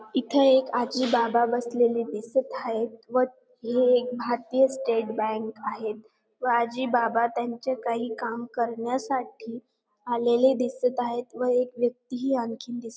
इथे एक आजी बाबा बसलेले दिसत हायेत व हे एक भारतीय स्टेट बँक हायेत व आजी बाबा त्यांचे काही काम करण्यासाठी आलेले दिसत आहेत व एक व्यक्ती ही आणखीन दिसत --